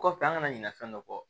Kɔfɛ an kana ɲinɛ fɛn dɔ kɔ